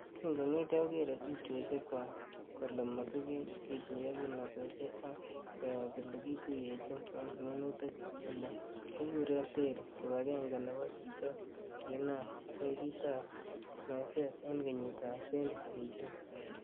Kikongetyo kogere tupchosiekchwak ko mosiget, kituyo kimnotosiek ak koyob ele kituye chin en minutik ele kikuren Terry, kibagenge nebo chichok kokinam benkitab meset en kenyitab 2018.